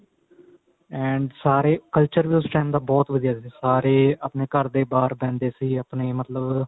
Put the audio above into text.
and ਸਾਰੇ culture ਵੀ ਉਸ time ਤਾਂ ਬਹੁਤ ਵਧੀਆ ਸੀ ਸਾਰੇ ਆਪਣੇ ਘਰ ਦੇ ਬਾਹਰ ਬੈਂਦੇ ਸੀ ਆਪਣੇ ਮਤਲਬ